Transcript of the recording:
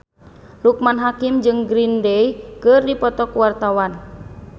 Loekman Hakim jeung Green Day keur dipoto ku wartawan